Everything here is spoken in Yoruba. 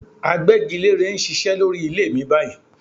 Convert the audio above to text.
Agbẹ́gilérè ń ṣiṣẹ́ lórí ilé mi báyìí